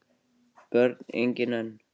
Börn: engin enn